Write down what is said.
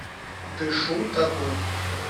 дышу тобой